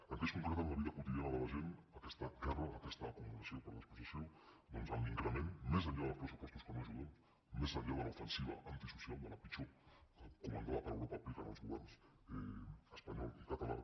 en què es concreta en la vida quotidiana de la gent aquesta guerra aquesta acumulació per despossessió doncs en l’increment més enllà dels pressupostos que no ajuden més enllà de l’ofensiva antisocial de la pitjor que comandada per europa apliquen els governs espanyol i català